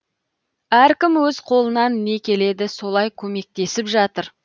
әркім өз қолынан не келеді солай көмектесіп жатыр